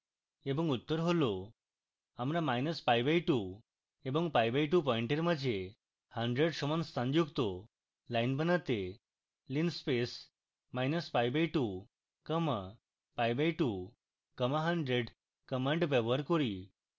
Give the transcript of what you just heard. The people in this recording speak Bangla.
এবং উত্তর হল